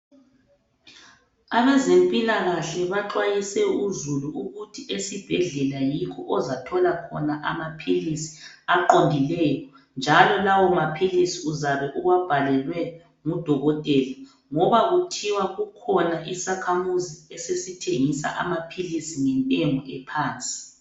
Abazempilakahle baxwayise uzulu ukuthi esibhedlela yikho ozathola khona amaphilisi aqondileyo njalo lawo maphilisi uzabe uwabhalelwe ngudokotela ngoba Kuthiwa kukhona isakhamuzi esesithengisa amaphilisi ngentengo ephansi.